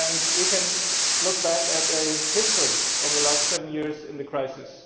We can look back at a history of the last seven years in the crisis.